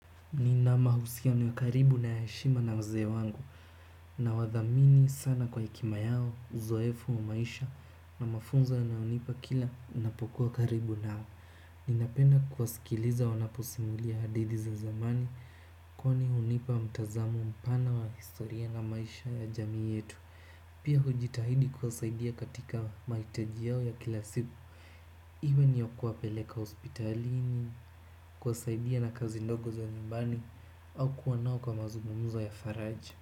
Nina mahusiano ya karibu na ya heshima na mzee wangu. Nawathamini sana kwa heshima yao na uzoefu wa maisha. Na mafunzo wanayonipa kila, ninapokuwa karibu nao. Ninapenda kuwasikiliza wanaposimulia hadithi za zamani, kwani hunipa mtazamo mpana wa historia na maisha ya jamii yetu. Pia hujitahidi kuwasaidia katika mahitaji yao ya kila siku, iwe ni ya kuwapeleka hospitalini, kuwasaidia na kazi ndogo za nyumbani au kuwa nao kwa mazungumzo ya faraja.